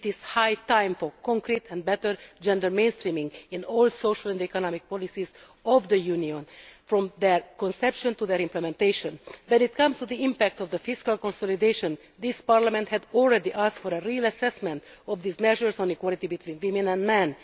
It is high time for concrete and better gender mainstreaming in all social and economic policies of the Union, from their conception to their implementation. When it comes to the impact of the fiscal consolidation, this Parliament had already asked for a real assessment of these measures on equality between women and men.